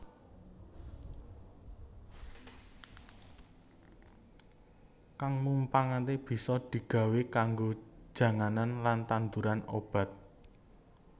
Kang mumpangaté bisa di gawé kanggo janganan lan tandhuran obat